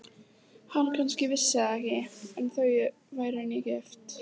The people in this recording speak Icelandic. Hann kannski vissi það ekki, en þau væru nýgift.